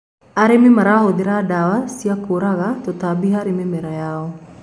arĩmi marahuthira mandawa ma kuraga tũtambi harĩ mĩmera yao